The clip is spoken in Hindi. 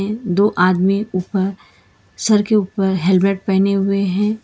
दो आदमी ऊपर सर के ऊपर हेलमेट पहने हुए हैं।